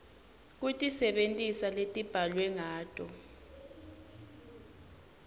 kutisebentisa letibhalwe ngato